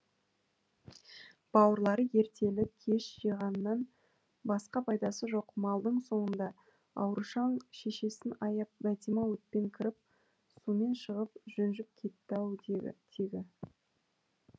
бауырлары ертелі кеш жиғаннан басқа пайдасы жоқ малдың соңында аурушаң шешесін аяп бәтима отпен кіріп сумен шығып жүнжіп кетті ау тегі тегі